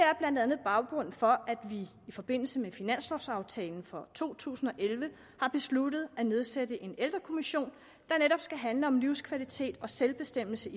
er blandt andet baggrunden for at vi i forbindelse med finanslovaftalen for to tusind og elleve har besluttet at nedsætte en ældrekommission der netop skal handle om livskvalitet og selvbestemmelse